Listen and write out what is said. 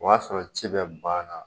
O y'a sɔrɔ ci bɛɛ banna